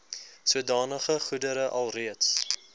sodanige goedere alreeds